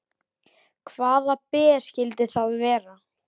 Hvaða ber skyldu það vera?